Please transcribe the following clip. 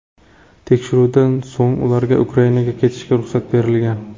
Tekshiruvdan so‘ng ularga Ukrainaga ketishga ruxsat berilgan.